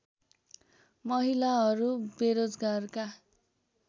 महिलाहरू बेरोजगारका